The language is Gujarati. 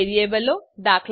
વેરીએબલો દા